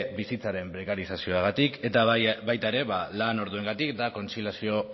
bizitzaren prekarizasioagatik eta baita era lan orduengatik eta kontziliazio